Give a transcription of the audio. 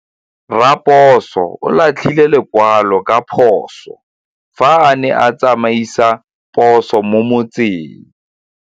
Raposo o latlhie lekwalô ka phosô fa a ne a tsamaisa poso mo motseng.